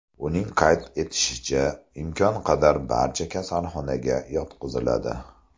Uning qayd etishicha, imkon qadar barcha kasalxonaga yotqiziladi.